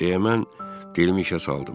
Deməli, dilimi işə saldım.